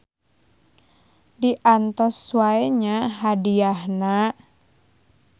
Diantos wae nya hadiahna.